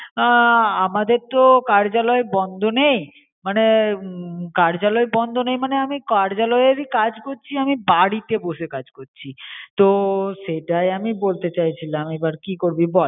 আ আমাদের তো কার্যালয় বন্ড নেই মনে উম কার্যালয় বন্ড নেই মনে আমি কার্যালয়এর ই কাজ করছি আমি বাড়িতে বসে কাজ করছি তো সেটাই আমি বলতে ছয় ছিলাম এবার কী করবি বল